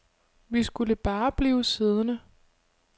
Vi skulle bare blive siddende.